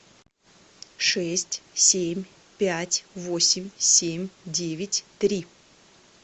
шесть семь пять восемь семь девять три